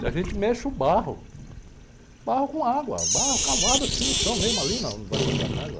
E a gente mexe o barro, barro com água, barro cavado assim no chão, mesmo ali, na, onde vai fazer a casa.